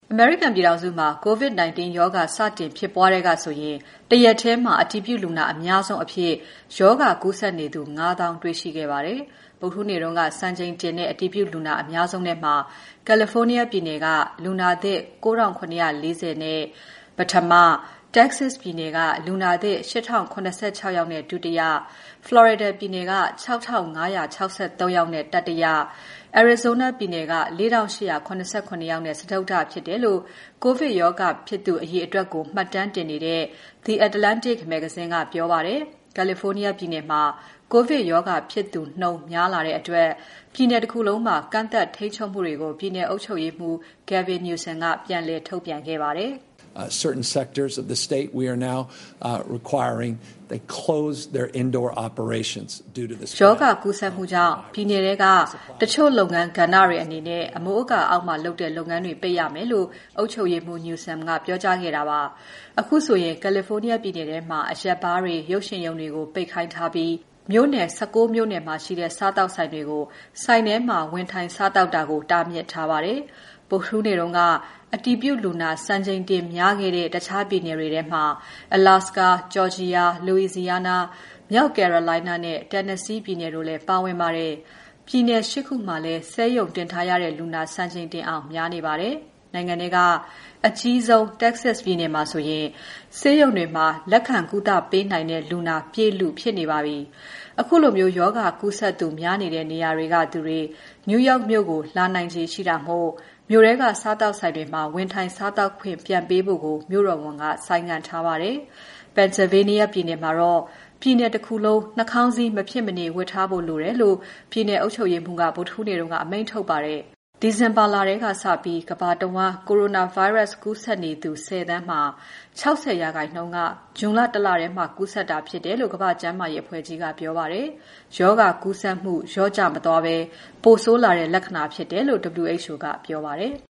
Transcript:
အမေရိကန်ပြည်ထောင်စုမှာ COVID-19 ရောဂါ စတင်ဖြစ်ပွားကတည်းကဆိုရင် တရက်ထဲ အတည်ပြုလူနာအများဆုံးအဖြစ် ရောဂါကူးစက်နေသူ ၅၀,၀၀၀ တွေ့ရှိခဲ့ပါတယ်။ ဗုဒ္ဓဟူးနေ့က စံချိန်တင်တဲ့ အတည်ပြုလူနာအများဆုံးထဲမှာ ကယ်လီဖိုးနီးယား ပြည်နယ်က လူနာသစ် ၉,၇၄၀ ယောက်နဲ့ ပထမ၊ Texas ပြည်နယ်က လူနာသစ် ၈,၀၇၆ ယောက်နဲ့ ဒုတိယ၊ Florida ပြည်နယ်က ၆,၅၆၃ နဲ့တတိယ၊ Arizona ပြည်နယ်က ၄,၈၇၇ ယောက်နဲ့ စတုတ္ထဖြစ်တယ်လို့ COVID ရောဂါ ကူးစက်သူအရေအတွက်ကို မှတ်တမ်းတင်နေတဲ့ The Atlantic မဂ္ဂဇင်းက ပြောပါတယ်။ California ပြည်နယ်မှာ ကိုဗစ်ရောဂါ ကူးစက်တဲ့နှုန်း ပိုများလာတဲ့အတွက် ပြည်နယ်တခုလုံးမှာ ကန့်သတ်ထိန်းချုပ်မှုတွေကို ပြည်နယ်အုပ်ချုပ်ရေးမှူး Gavin Newsom က ပြန်လည်ထုတ်ပြန်ခဲ့ပါတယ်။ "ရောဂါကူးစက်မှုကြောင့် ပြည်နယ်ထဲက တချို့လုပ်ငန်းကဏ္ဍတွေအနေနဲ့ အမိုးအကာအောက်မှာလုပ်တဲ့ လုပ်ငန်းတွေ ပိတ်ရမယ်" လို့ အုပ်ချုပ်ရေးမှူး Newsom က ပြောပါတယ်။ အခုဆိုရင် California ပြည်နယ်ထဲမှာ အရက်ဘားတွေ၊ ရုပ်ရှင်ရုံတွေကို ပိတ်ခိုင်းထားပြီး မြို့နယ် ၁၉ မြို့နယ်မှာရှိတဲ့ စားသောက်ဆိုင်တွေကို ဆိုင်ထဲမှာ ဝင်ထိုင်စားသောက်တာ တားမြစ်ထားပါတယ်။ ဗုဒ္ဓဟူးနေ့က အတည်ပြုလူနာ စံချိန်တင်များခဲ့တဲ့ တခြားပြည်နယ်တွေထဲမှာ Alaska, Georgia, Louisiana, မြောက် Carolina နဲ့ Tennessee ပြည်နယ်တို့လည်းပါဝင်ပါတယ်။ ပြည်နယ် ၈ ခုမှာလည်း ဆေးရုံတင်ထားရတဲ့လူနာ စံချိန်တင်အောင်များနေပါတယ်။ နိုင်ငံထဲက အကြီးဆုံး Texas ပြည်နယ်မှာဆိုရင် ဆေးရုံတွေမှာ လက်ခံကုသပေးနိုင်တဲ့ လူနာပြည့်လုနီးဖြစ်နေပါတယ်။ ခုလိုရောဂါကူးစက်သူများနေတဲ့ နေရာတွေကသူတွေ New York မြို့ကို လာရောက်နိုင်ခြေရှိတာမို့ မြို့ထဲက စားသောက်ဆိုင်တွေမှာ ဝင်ထိုင်စားသောက်ခွင့် ပြန်ပေးဖို့ကို မြို့တော်ဝန်က ဆိုင်းငံ့ထားပါတယ်။ Pennsylvania ပြည်နယ်မှာတော့ ပြည်နယ်တခုလုံး နှာခေါင်းစည်း မဖြစ်မနေ ဝတ်ထားဖို့လိုတယ်လို့ ပြည်နယ်အုပ်ချုပ်ရေးမှူးက ဗုဒ္ဓဟူးနေ့က အမိန့်ထုတ်ခဲ့ပါတယ်။ ဒီဇင်ဘာလထဲကစပြီး ကမ္ဘာတဝန်း ကိုရိုနာဗိုင်းရပ်စ် ကူးစက်နေသူ ၁၀ သန်းမှာ ၆၀ ရာခိုင်နှုန်းက ဇွန်လတလထဲမှာ ကူးစက်တာဖြစ်တယ်လို့ ကမ္ဘာ့ကျန်းမာရေးအဖွဲ့ကြီးက ပြောပါတယ်။ ရောဂါကူးစက်မှု လျော့ကျ မသွားဘဲ ပိုဆိုးလာတဲ့ လက္ခဏာဖြစ်တယ်လို့ WHO ကပြောပါတယ်။